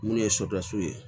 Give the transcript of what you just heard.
Minnu ye ye